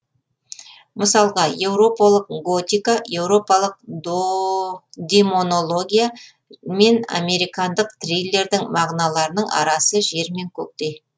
мысалға еуропалық готика еуропалық демонология мен американдық триллердің мағыналарының арасы жер мен көктей